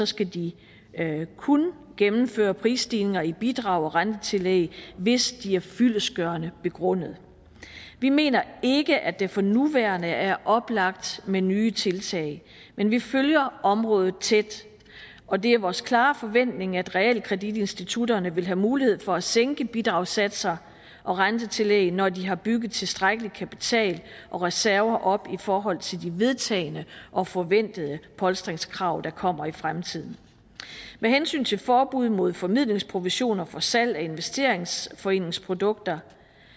skal de kun gennemføre prisstigninger i bidrag og rentetillæg hvis de er fyldestgørende begrundede vi mener ikke at det for nuværende er oplagt med nye tiltag men vi følger området tæt og det er vores klare forventning at realkreditinstitutterne vil have mulighed for at sænke bidragssatser og rentetillæg når de har bygget tilstrækkelig kapital og reserver op i forhold til de vedtagne og forventede polstringskrav der kommer i fremtiden med hensyn til forbud mod formidlingsprovision og for salg af investeringsforeningsprodukter